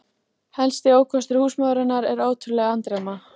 Helsti ókostur húsmóðurinnar er ótrúleg andremma.